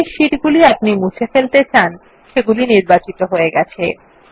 যে শীট আপনি মুছে ফেলতে চান সেটি নির্বাচিত হয়ে গেছে